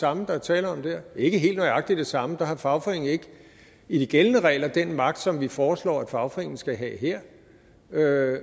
samme der er tale om der ikke helt nøjagtig det samme der har fagforeningen ikke i de gældende regler den magt som vi foreslår at fagforeningen skal have her